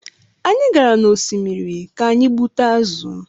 Anyị gara n’osimiri ka anyị gbute azụ̀